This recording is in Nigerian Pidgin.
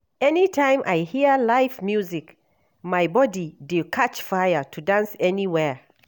Anytime I hear live music, my body dey catch fire to dance anywhere.